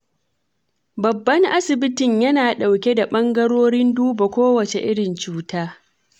Babban asibitin yana ɗauke da ɓangarorin duba kowace irin cuta.